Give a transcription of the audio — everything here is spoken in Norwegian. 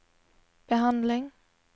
behandling